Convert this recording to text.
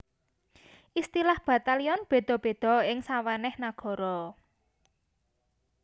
Istilah batalyon béda béda ing sawenèh nagara